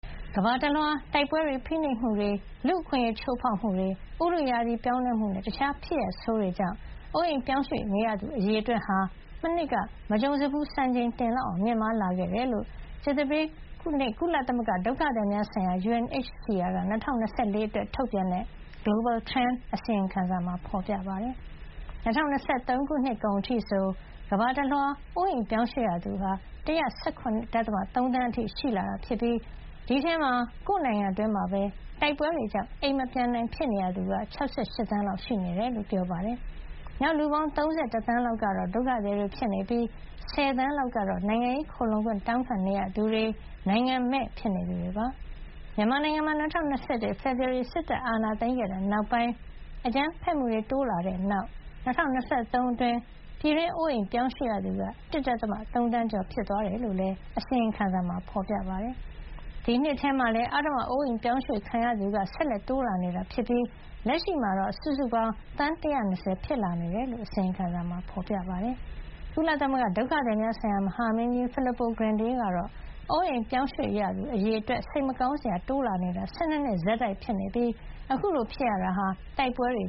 ကမ္ဘာတလွှား တိုက်ပွဲတွေ၊ ဖိနှိပ်မှုတွေ၊ လူ့အခွင့်ရေးချိုးဖေါက်မှုတွေ၊ ဥတုရာသီပြောင်းလဲမှုနဲ့ တခြားဖြစ်ရပ်ဆိုးတွေကြောင့် အိုးအိမ်ပြောင်းရွှေ့ ရသူ အရေအတွက်ဟာ မနှစ်က မကြုံစဖူး စံချိန်တင် မြင့်မားလာခဲ့တယ်လို့ ကြာသပတေးနေ့မှာ ကုလသမဂ္ဂ ဒုက္ခသည်များဆိုင်ရာ UNHCR က ၂၀၂၄ ခုနှစ်အတွက် ထုတ်ပြန်တဲ့ Global Trend အစီရင်ခံစာမှာ ဖေါ်ပြထားပါတယ်။ ၂၀၂၃ ခု နှစ်ကုန်အထိဆို ကမ္ဘာတလွှား အိုးအိမ်ပြောင်းရွှေ့ရသူဟာ ၁၁၇.၃ သန်း အထိရှိလာတာဖြစ်ပြီး ဒီအထဲမှာ ကိုယ့် နိုင်ငံအတွင်းမှာပဲ တိုက်ပွဲတွေကြောင့် အိမ်မပြန်နိုင်ဖြစ်နေရသူက ၆၈ သန်းလောက် ရှိနေတယ်လို့ ပြောပါတယ်။ နောက် လူပေါင်း ၃၁ သန်းလောက်ကတော့ ဒုက္ခသည်တွေ ဖြစ်နေပြီး ၁၀ သန်းလောက်ကတော့ နိုင်ငံရေး ခိုလှုံခွင့် တောင်းခံနေရသူတွေ၊ နိုင်ငံမဲ့ ဖြစ်နေသူတွေပါ။ မြန်မာနိုင်ငံမှာ ၂၀၂၁ ဖေဖေါ်ဝါရီ စစ်တပ်အာဏာသိမ်းခဲ့တဲ့ နောက်ပိုင်း အကြမ်းဖက်မှုတွေ တိုးလာခဲ့ပြီး ၂၀၂၃ ခုနှစ်အတွင်း ပြည်တွင်း အိုးအိမ်ပြောင်းရွှေ့ရသူက ၁.၃ သန်း ကျော် ဖြစ်သွားတယ်လို့လည်း အစီရင်ခံစာမှာ ဖေါ်ပြပါတယ်။ ဒီနှစ်ထဲမှာလည်း အဓမ္မ အိုးအိမ်ရွှေ့ပြောင်းခံရသူတွေ ဆက်လက် တိုးလာနေပြီး လက်ရှိမှာ စုစုပေါင်း သန်း ၁၂၀ ဖြစ်လာနေတယ်လို့လည်း အစီရင်ခံစာမှာ ဖေါ်ပြပါတယ်။ ကုလသမဂ္ဂ ဒုက္ခသည်များဆိုင်ရာ မဟာမင်းကြီး Filippo Grandi ကတော့ အိုးအိမ်ရွေ့ပြောင်းရသူအရေအတွက်ဟာ စိတ်မကောင်းစရာ တိုးလာနေတာ ၁၂ နှစ် လုံးလုံး ဆက်တိုက်ဖြစ်နေပြီး အခုလို ဖြစ်ရတာဟာ တိုက်ပွဲတွေ